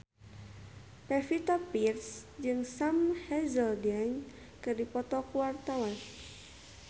Pevita Pearce jeung Sam Hazeldine keur dipoto ku wartawan